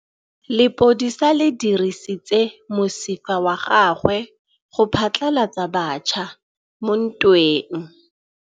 Lepodisa le dirisitse mosifa wa gagwe go phatlalatsa batšha mo ntweng.